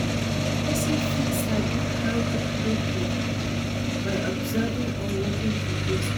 Persin fit sabi how to plait hair by observing or watching videos online